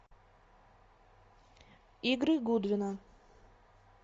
игры гудвина